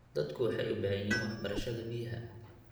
Dadku waxay u baahan yihiin waxbarashada biyaha.